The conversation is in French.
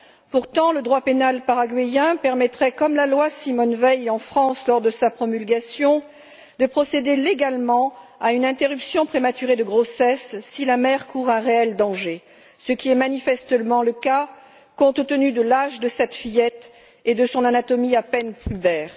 Pourtant, le droit pénal paraguayen permettrait, comme la loi Simone Veil, en France, lors de sa promulgation, de procéder légalement à une interruption prématurée de grossesse si la mère court un réel danger, ce qui est manifestement le cas, compte tenu de l'âge de cette fillette et de son anatomie à peine pubère.